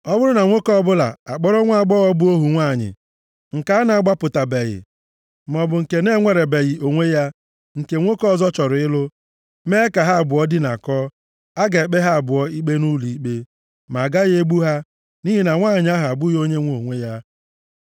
“ ‘Ọ bụrụ na nwoke ọbụla akpọrọ nwaagbọghọ bụ ohu nwanyị nke a na-agbapụtabeghị, maọbụ nke na-enwerebeghị onwe ya, nke nwoke ọzọ chọrọ ịlụ, mee ka ha abụọ dinakọọ, a ga-ekpe ha abụọ ikpe nʼụlọikpe, ma a gaghị egbu ha, nʼihi na nwanyị ahụ abụghị onye nwe onwe ya.